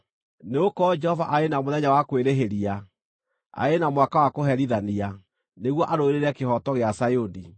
Nĩgũkorwo Jehova arĩ na mũthenya wa kwĩrĩhĩria, arĩ na mwaka wa kũherithania, nĩguo arũĩrĩre kĩhooto gĩa Zayuni.